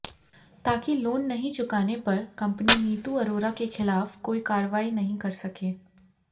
ताकि लोन नहीं चुकाने पर कंपनी नीतू अरोरा के खिलाफ कोई कार्रवाई नहीं कर सकें